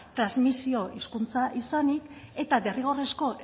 transmisio hizkuntza izanik eta derrigorrezko